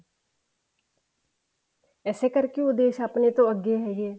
ਇਸੇ ਕਰਕੇ ਉਹ ਦੇਸ਼ ਆਪਣੇ ਤੋਂ ਅੱਗੇ ਹੈਗੇ ਆ